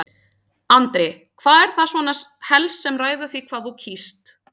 Andri: Hvað er það svona helst sem ræður því hvað þú kýst?